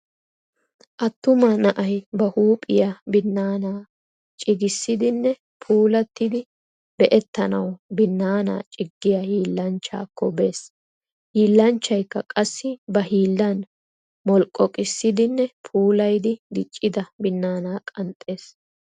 Attuma na'ay ba huuphiyaa binaana cigisidinne puulatidi be'etanawu binaana ciggiya hiillanchchakko bes. Hilanchchaykka qassi ba hillan molqoqqisidinne puulayidi diccida binana qanxxes.